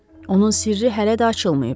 Onun sirri hələ də açılmayıb.